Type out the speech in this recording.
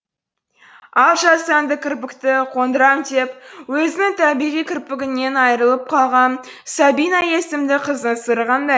ал жасанды кірпікті қондырам деп өзінің табиғи кірпігінен айырылып қалған сабина есімді қыздың сыры қандай